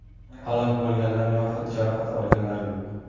Halok bo‘lganlar yoxud jarohat olganlar yo‘q.